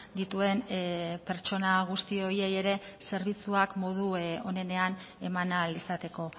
dituen pertsona guzti horiei ere zerbitzuak modu onenean eman ahal izateko